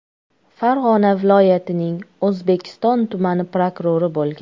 Farg‘ona viloyatining O‘zbekiston tumani prokurori bo‘lgan.